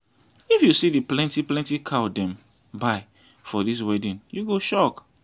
if you see the plenty plenty cow dem buy for this wedding you go shock